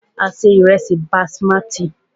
A se ìrẹ́sí basimati.